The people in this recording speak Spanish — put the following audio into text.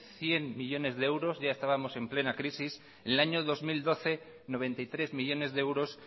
cien millónes de euros ya estábamos en plena crisis en el año dos mil doce noventa y tres millónes de euros